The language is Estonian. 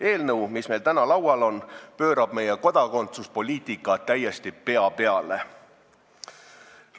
Eelnõu, mis meil täna laual on, pöörab meie kodakondsuspoliitika täiesti pea peale.